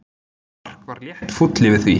Mark var létt fúll yfir því.